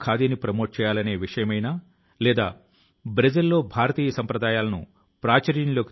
ఎన్ CC cadets ప్రారంభించిన పునీత్ సాగర్ అభియాన్ లో కూడా మనం దీని సంగ్రహావలోకనాన్ని చూడవచ్చును